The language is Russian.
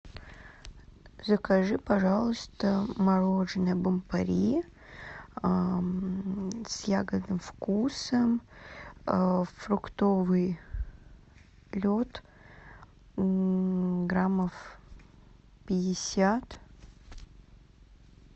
закажи пожалуйста мороженое бон пари с ягодным вкусом фруктовый лед граммов пятьдесят